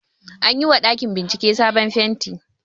Anyi wa ɗakin bincike sabon fenti